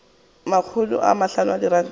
makgolo a mahlano a diranta